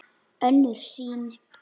Önnur sýn